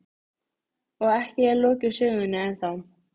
Og ekki er lokið sögunni ennþá.